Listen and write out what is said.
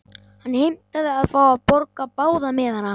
Hann heimtaði að fá að borga báða miðana.